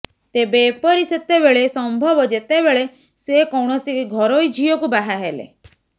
ତେବେ ଏପରି ସେତେବେଳେ ସମ୍ଭବ ଯେତେବେଳେ ସେ କୌଣସି ଘରୋଇ ଝିଅ କୁ ବାହା ହେଲେ